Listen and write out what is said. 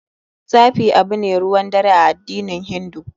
Tsafi abu ne ruwan dare a addinin hindu.